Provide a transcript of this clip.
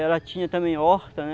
Ela tinha também horta, né?